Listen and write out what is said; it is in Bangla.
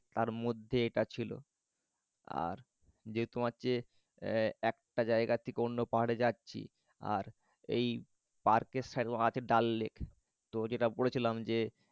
তার মধ্যে এটা ছিল। আর যে তোমার যে একটা জায়গা থেকে অন্য পাহারে যাচ্ছি আর এই পার্কের পার্কের ডাল লেক তো যেটা বলেছিলাম যে